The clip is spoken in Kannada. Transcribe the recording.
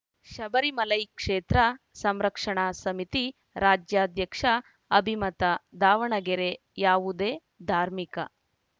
ಶಬರಿಮಲೈ ಕ್ಷೇತ್ರ ಸಂರಕ್ಷಣಾ ಸಮಿತಿ ರಾಜ್ಯಾಧ್ಯಕ್ಷ ಅಭಿಮತ ದಾವಣಗೆರೆ ಯಾವುದೇ ಧಾರ್ಮಿಕ